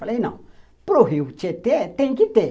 Falei, não, para o Rio Tietê tem que ter.